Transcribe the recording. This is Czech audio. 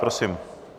Prosím.